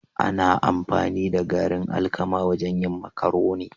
Ana amfani da garin alkama wajen yin marcaroni